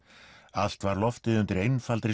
allt var loftið undir einfaldri